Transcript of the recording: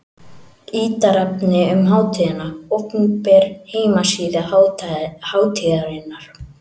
Ítarefni um hátíðina: Opinber heimasíða hátíðarinnar.